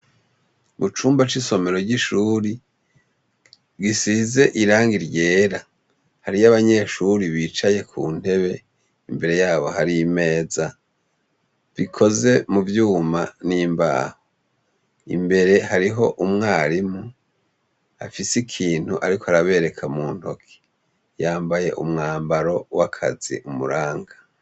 Mu cumba c'isomero ry'ishure, risize irangi ryera, hariyo abanyeshure bicaye ku ntebe. Imbere yabo hari imeza, ikoze mu vyuma n'imbaho. Imbere hariho umwarimu, afise ikintu ariko arabereka mu ntoke. Yambaye umwambaro w'akazi umuranga.